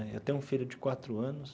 Né eu tenho um filho de quatro anos,